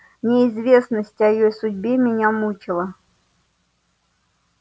неизвестность о её судьбе меня мучила